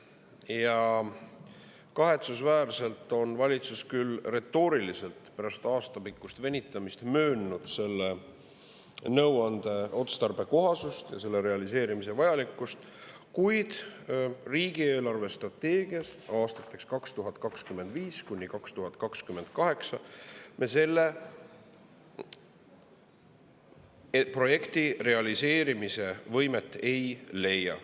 Ja kahetsusväärselt on valitsus küll retooriliselt pärast aastapikkust venitamist möönnud selle nõuande otstarbekohasust ja selle realiseerimise vajalikkust, kuid riigi eelarvestrateegias aastateks 2025–2028 me selle projekti realiseerimise võimet ei leia.